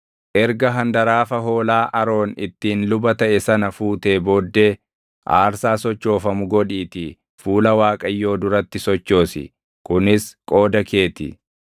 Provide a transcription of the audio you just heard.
Erga handaraafa hoolaa Aroon ittiin luba taʼe sana fuutee booddee aarsaa sochoofamu godhiitii fuula Waaqayyoo duratti sochoosi; kunis qooda kee ti.